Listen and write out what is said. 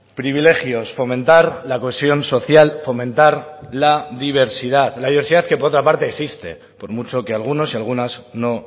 privilegios fomentar la cohesión social fomentar la diversidad la diversidad que por otra parte existe por mucho que algunos y algunas no